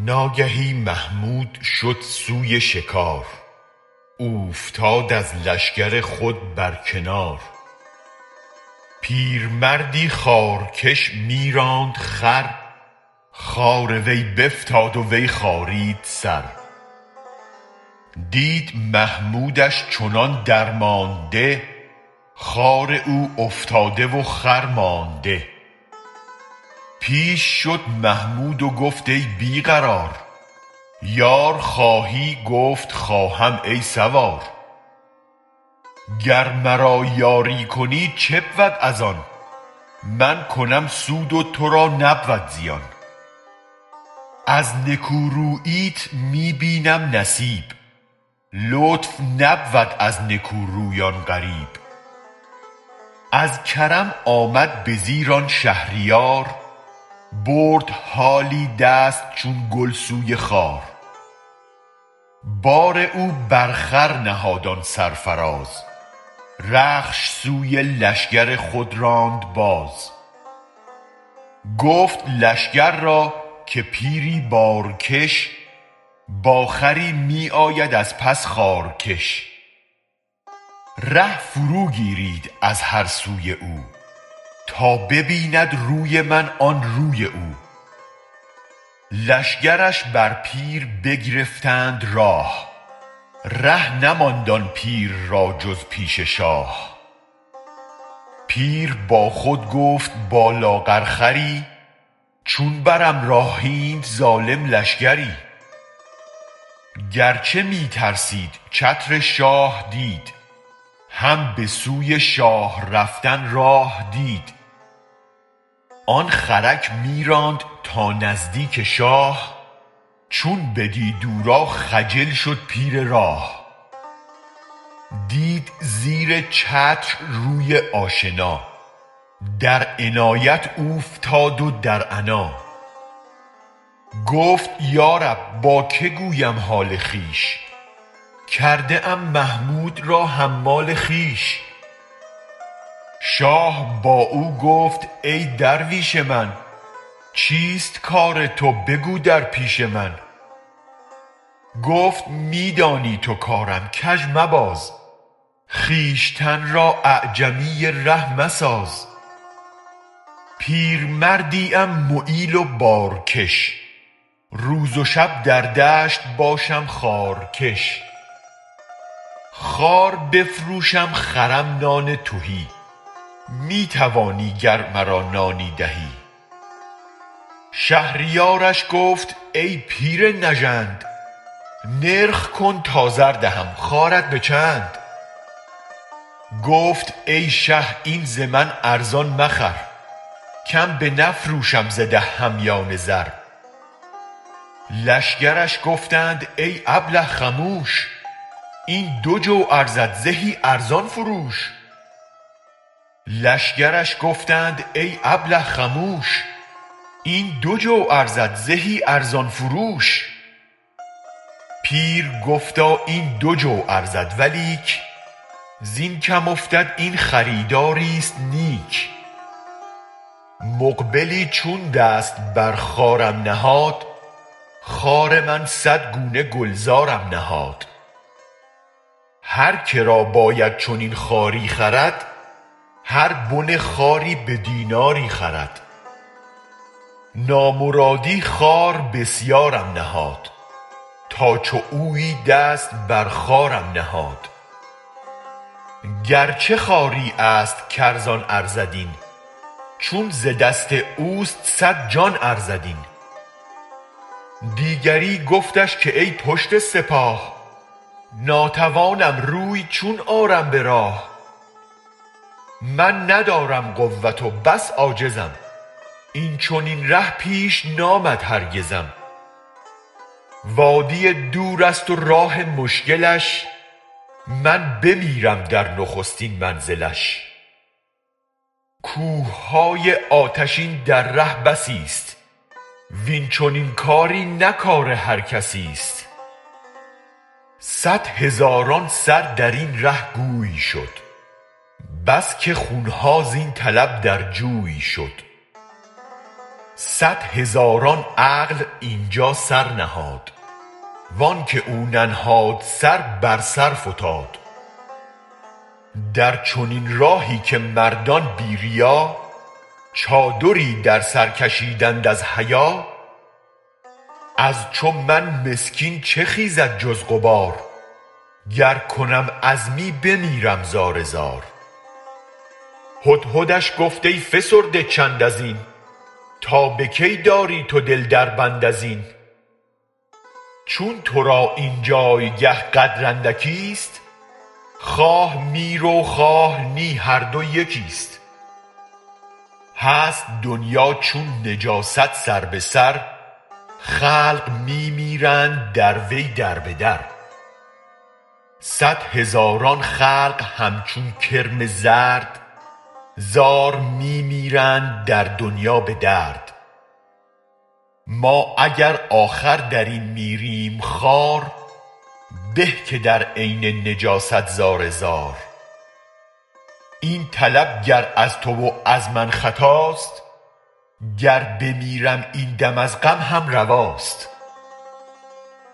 ناگهی محمود شد سوی شکار اوفتاد از لشگر خود برکنار پیرمردی خارکش می راند خر خار وی بفتاد وی خارید سر دید محمودش چنان درمانده خار او افتاده و خرمانده پیش شد محمود و گفت ای بی قرار یار خواهی گفت خواهم ای سوار گر مرا یاری کنی چه بود از آن من کنم سود و تو را نبود زیان از نکوروییت می بینم نصیب لطف نبود از نکورویان غریب از کرم آمد به زیر آن شهریار برد حالی دست چون گل سوی خار بار او بر خر نهاد آن سرفراز رخش سوی لشگر خود راند باز گفت لشگر را که پیری بارکش با خری می آید از پس خارکش ره فرو گیرید از هر سوی او تا ببیند روی من آن روی او لشگرش بر پیر بگرفتند راه ره نماند آن پیر را جز پیش شاه پیر با خود گفت با لاغرخری چون برم راه اینت ظالم لشگری گرچه می ترسید چتر شاه دید هم بسوی شاه رفتن راه دید آن خرک می راند تا نزدیک شاه چون بدید او را خجل شد پیر راه دید زیر چتر روی آشنا در عنایت اوفتاد و در عنا گفت یا رب با که گویم حال خویش کرده ام محمود را حمال خویش شاه با او گفت ای درویش من چیست کار تو بگو در پیش من گفت می دانی تو کارم کژ مباز خویشتن را اعجمی ره مساز پیرمردی ام معیل و بارکش روز و شب در دشت باشم خارکش خار بفروشم خرم نان تهی می توانی گر مرا نانی دهی شهریارش گفت ای پیر نژند نرخ کن تا زر دهم خارت به چند گفت ای شه این ز من ارزان مخر کم بنفروشم ز ده همیان زر لشگرش گفتند ای ابله خموش این دو جو ارزد زهی ارزان فروش پیر گفتا این دو جو ارزد ولیک زین کم افتد این خریداری ست نیک مقبلی چون دست بر خارم نهاد خار من صد گونه گلزارم نهاد هر که را باید چنین خاری خرد هر بن خاری به دیناری خرد نامرادی خار بسیارم نهاد تا چو اویی دست بر خارم نهاد گرچه خاری است کارزان ارزد این چون ز دست اوست صد جان ارزد این دیگری گفتش که ای پشت سپاه ناتوانم روی چون آرم به راه من ندارم قوت و بس عاجزم این چنین ره پیش نآمد هرگزم وادی دورست و راه مشکلش من بمیرم در نخستین منزلش کوه های آتشین در ره بسی ست وین چنین کاری نه کار هرکسی ست صد هزاران سر درین ره گوی شد بس که خون ها زین طلب در جوی شد صد هزاران عقل اینجا سر نهاد وانک او ننهاد سر بر سر فتاد در چنین راهی که مردان بی ریا چادری در سر کشیدند از حیا از چو من مسکین چه خیزد جز غبار گر کنم عزمی بمیرم زارزار هدهدش گفت ای فسرده چند ازین تا به کی داری تو دل دربند ازین چون تو را این جایگه قدر اندکی ست خواه می رو خواه نی هر دو یکی ست هست دنیا چون نجاست سر به سر خلق می میرند در وی در به در صد هزاران خلق همچون کرم زرد زار می میرند در دنیا به درد ما اگر آخر درین میریم خوار به که در عین نجاست زار زار این طلب گر از تو و از من خطاست گر بمیرم این دم از غم هم رواست